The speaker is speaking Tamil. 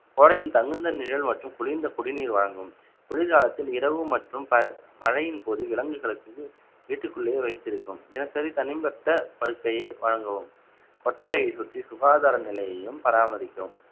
கோடையின் தகுந்த நிழல் மற்றும் குளிர்ந்த குடிநீர் வழங்கவும் குளிர்காலத்தில் இரவு மற்றும் ப~ மழையின் போது விலங்குகளுக்கு வீட்டுக்குள்ளேயே வைத்திருக்கும் தினசரி தனிப்பட்ட படுக்கையை வழங்கவும் கொட்டகையை சுற்றி சுகாதார நிலையையும் பராமரிக்கவும்